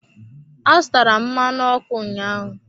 Azụtara m mmanụ ọkụ ụnyaahụ.